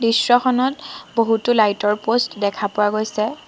দৃশ্যখনত বহুতো লাইট ৰ প'ষ্ট দেখা পোৱা গৈছে।